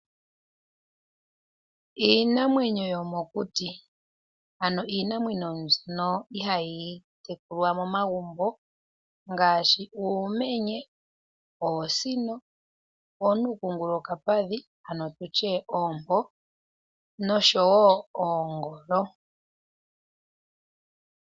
Iinamwenyo yomokuti ano iinamwenyo mbyono ihaayi tekulwa momagumbo ngaashi uumenye, oosino ,oonukungulu wokapadhi ano tutye oompo noshowo oongolo.